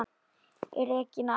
Regína amma.